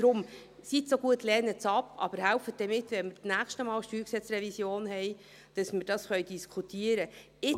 Seien Sie deshalb so gut, lehnen Sie ab, aber helfen Sie bei der nächsten StG-Revision mit, dass wir darüber diskutieren können.